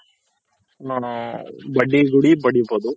ಬಡ್ಡಿ ಹೂಡಿ ಬಡ್ಡಿ ಪಡಿಬೋದು.